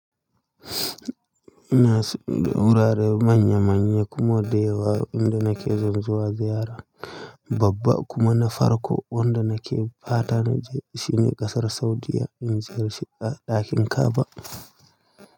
Ina da wurare manya manya kuma da yawa inda nake san zuwa ziyara. Babba kuma na farko wanda nake fata naje shine ƙasar Saudiyya in ziyarci ɗakin Ka'aba.